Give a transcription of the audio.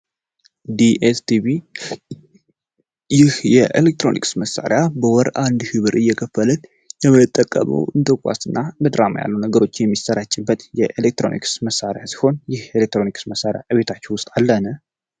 ዲኤስትቪ ይህ የኤሌክትሮኒክስ መሳሪያ በወር አንድ ሺህ ብር እየከፈልን የምንጠቀመው እንደ ኳስ እና ድራማ የመሳሰሉ ነነገሮች የሚሰራጩበት የኤሌክትሮኒክስ መሳሪያ ሲሆን ይህ የኤሌክትሮኒክስ መሳሪያ ከቤታችን ውስጥ አለን።